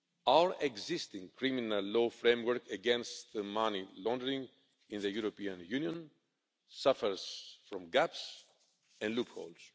Our existing criminal law framework against money laundering in the European Union suffers from gaps and loopholes.